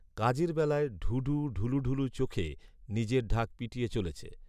কাজের বেলায় ঢুঢু ঢুলুঢুলু চোখে নিজের ঢাক পিটিয়ে চলেছে